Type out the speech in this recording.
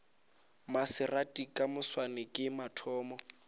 maserati ka moswane ke mathomo